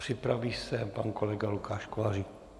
Připraví se pan kolega Lukáš Kolářík.